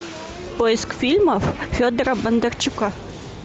поиск фильмов федора бондарчука